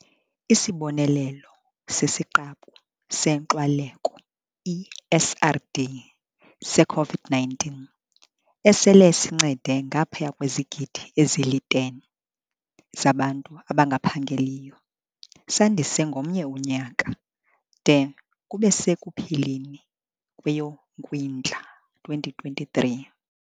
ISibonelelo sesiQabu seNkxwaleko, i-SRD, se-COVID-19, esele sincede ngaphaya kwezigidi ezili-10 zabantu abangaphangeliyo, sandisiwe ngomnye unyaka - de kube sekupheleni kweyoKwindla 2023.